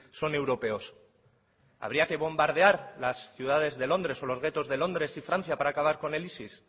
son europeos habría que bombardear las ciudades de londres o los guetos de londres y francia para acabar con el isis